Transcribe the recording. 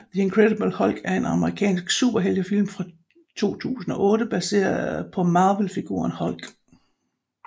The Incredible Hulk er en amerikansk superheltefilm fra 2008 baseret på Marvelfiguren Hulk